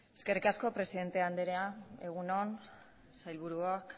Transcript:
eskerrik asko presidente andrea egun on sailburuok